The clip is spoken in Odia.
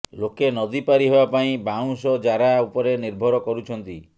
ଲୋକେ ନଦୀ ପାରି ହେବାପାଇଁ ବାଉଁଶଜାରା ଉପରେ ନିର୍ଭର କରୁଛନ୍ତି